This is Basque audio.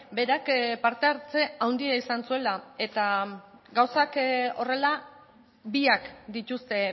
berak parte hartze handia izan zuela eta gauzak horrela biak dituzte